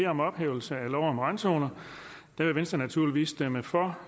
om ophævelse af lov om randzoner vil venstre naturligvis stemme for